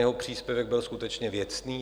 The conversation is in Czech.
Jeho příspěvek byl skutečně věcný.